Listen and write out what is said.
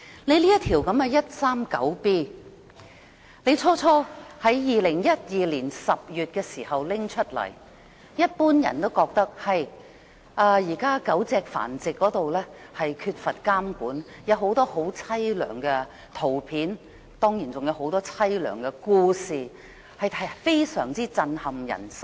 香港法例第 139B 章《公眾衞生規例》在2012年10月提出時，市民普遍認為狗隻繁殖缺乏監管，情況悽涼，許多狗隻受虐的相片或故事都非常震撼人心。